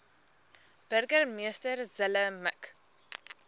burgemeester zille mik